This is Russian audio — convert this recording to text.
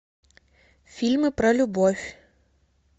фильмы про любовь